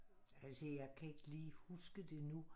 Altså jeg kan ikke lige huske det nu